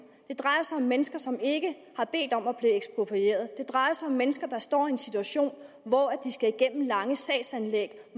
drejer sig om mennesker som ikke har bedt om at blive eksproprieret det drejer sig om mennesker der står i en situation hvor de skal igennem lange sagsanlæg